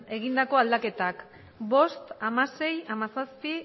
egindako aldaketak bost hamasei hamazazpi